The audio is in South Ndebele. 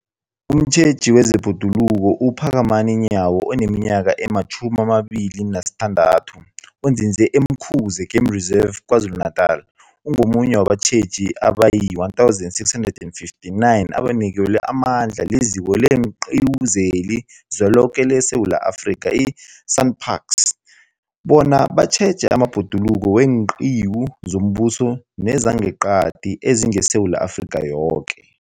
Umtjheji wezeBhoduluko uPhakamani Nyawo oneminyaka ema-26, onzinze e-Umkhuze Game Reserve KwaZulu-Natala, ungomunye wabatjheji abayi-1 659 abanikelwe amandla liZiko leenQiwu zeliZweloke leSewula Afrika, i-SANParks, bona batjheje amabhoduluko weenqiwu zombuso nezangeqadi ezingeSewula Afrika yoke.